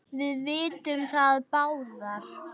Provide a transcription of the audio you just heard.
Við vitum það báðar.